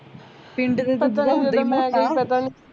ਪਿੰਡ ਦੇ ਦੁੱਧ ਤਾਂ ਹੁੰਦੇ ਨੀ